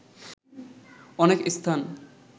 অনেক স্থান